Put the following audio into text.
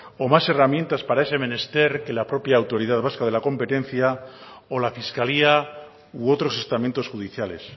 o más herramientas para ese menester que la propia autoridad vasca de la competencia o la fiscalía u otros estamentos judiciales